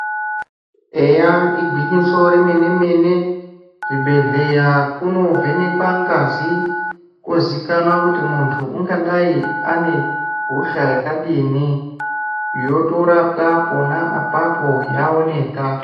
Eya igwinyiso remene mene kuzvibhedhlera kunovhenekwa ngazi kwozikanwa kuti munhu ungadayi ane hosha yakadini yotorapwa pona apapo yaoneka.